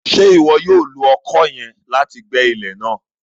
Ṣe iwọ yoo lo ọkọ yẹn láti gbẹ ilẹ náà?